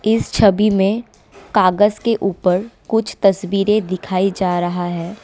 इस छवि में कागज के ऊपर कुछ तस्वीरें दिखाई जा रहा है।